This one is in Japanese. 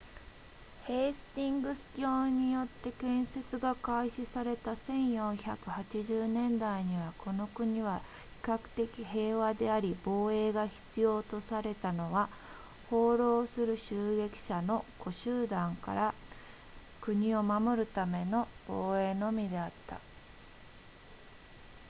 ヘイスティングス卿によって建設が開始された1480年代にはこの国は比較的平和であり防衛が必要とされたのは放浪する襲撃者の小集団から国を守るための防衛のみであった